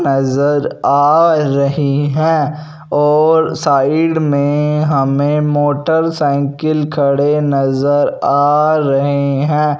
नजर आ रही हैं और साइड में हमें मोटरसाइकिल खड़े नजर आ रहे हैं।